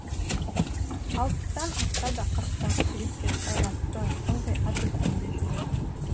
алпыстан асса да қырықтағы жігіттей қайратты ылғи ат үстінде жүреді